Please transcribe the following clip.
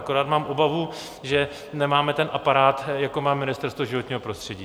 Akorát mám obavu, že nemáme ten aparát, jako má Ministerstvo životního prostředí.